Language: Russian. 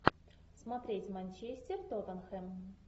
смотреть манчестер тоттенхэм